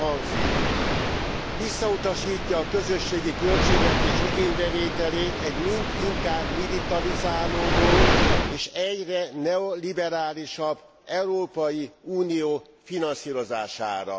Így hangzik visszautasítja a közösségi költségvetés igénybevételét egy mind inkább militalizáródó és egyre neoliberálisabb Európai Unió finanszírozására.